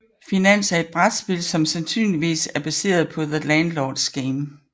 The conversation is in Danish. Finans er et brætspil som sandsynligvis er baseret på The Landlords Game